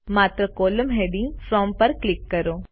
માત્ર column heading from પર click કરો